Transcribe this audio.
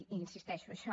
hi insisteixo això